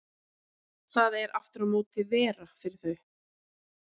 Það er aftur á móti vera fyrir þau.